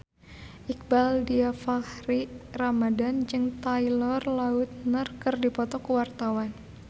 Iqbaal Dhiafakhri Ramadhan jeung Taylor Lautner keur dipoto ku wartawan